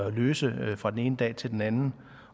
at løse fra den ene dag til den anden